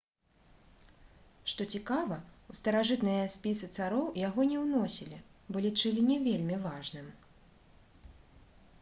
што цікава у старажытныя спісы цароў яго не ўносілі бо лічылі не вельмі важным